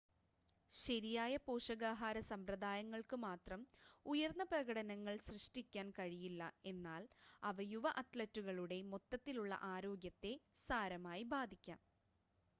ശരിയായ പോഷകാഹാര സമ്പ്രദായങ്ങൾക്ക് മാത്രം ഉയർന്ന പ്രകടനങ്ങൾ സൃഷ്ടിക്കാൻ കഴിയില്ല എന്നാൽ അവ യുവ അത്‌ലറ്റുകളുടെ മൊത്തത്തിലുള്ള ആരോഗ്യത്തെ സാരമായി ബാധിക്കാം